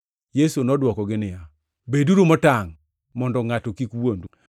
Yesu nodwokogi niya, “Beduru motangʼ mondo ngʼato kik wuondu.